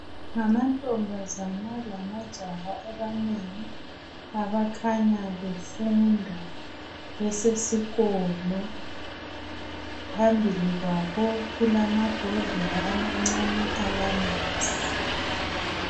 Ngamantombazana lamajaha amanengi abakhanya befunda besesikolo phambili kwabo kulamabhodlela amancane alamanzi.